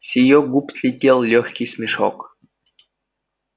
с её губ слетел лёгкий смешок